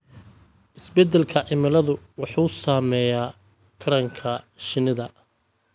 Isbeddelka cimiladu wuxuu saameeyaa taranka shinnida.